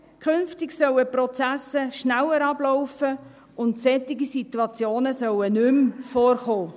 Künftig sollten die Prozesse schneller ablaufen und solche Situationen sollten nicht mehr vorkommen.